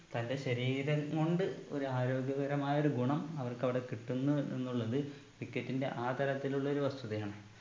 തന്റെ ശരീരം കൊണ്ട് ഒരാരോഗ്യപരമായൊരു ഗുണം അവർക്കവിടെ കിട്ടുന്നു എന്നുള്ളത് cricket ന്റെ ആ തലത്തിലുള്ളൊരു വസ്തുതയാണ്